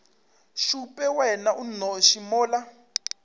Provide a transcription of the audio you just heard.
šupe wena o nnoši mola